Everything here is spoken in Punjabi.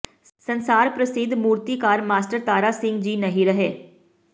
ਸੰਸਾਰ ਪ੍ਰਸਿੱਧ ਮੂਰਤੀਕਾਰ ਮਾਸਟਰ ਤਾਰਾ ਸਿੰਘ ਜੀ ਨਹੀ ਰਹੇ